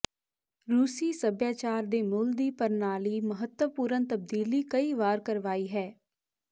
ਰੂਸੀ ਸਭਿਆਚਾਰ ਦੇ ਮੁੱਲ ਦੀ ਪ੍ਰਣਾਲੀ ਮਹੱਤਵਪੂਰਨ ਤਬਦੀਲੀ ਕਈ ਵਾਰ ਕਰਵਾਈ ਹੈ